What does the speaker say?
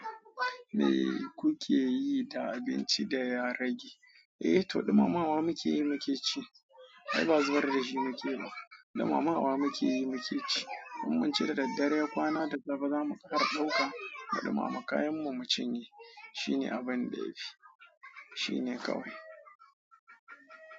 Me kuke yi da abinci da ya rage? Eh, to ɗumamawa muke yi mu ke ci. Ai ba zubar da shi muke ba, ɗumamawa muke yi mu ke ci. Mun min shi da daddare kwana da safe zamu ƙar ɗauka mu ɗumama. Kayan mu mu cinye. Shine abin da ya fi, shine kawai.